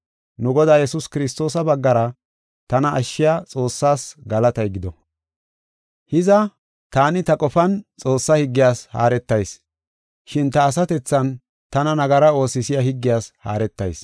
Nu Godaa Yesuus Kiristoosa baggara tana ashshiya Xoossaas galatay gido. Hiza, taani ta qofan Xoossaa higgiyas haaretayis; shin ta asatethan tana nagara oosisiya higgiyas haaretayis.